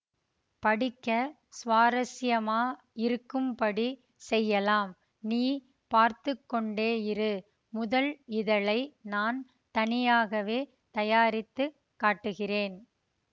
படிக்க சுவாரஸ்யமா யிருக்கும்படிச் செய்யலாம் நீ பார்த்து கொண்டேயிரு முதல் இதழை நான் தனியாகவே தயாரித்து காட்டுகிறேன்